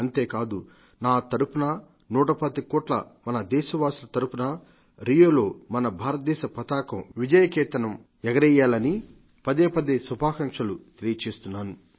అంతేకాదు నా తరపున నూటపాతిక కోట్ల మన దేశవాసుల తరపునా రియోలో మన భారతదేశ పతాకం విజయ కేతనంగా ఎగరేయాలని పదేపదే శుభాకాంక్షలు తెలియజేస్తున్నాను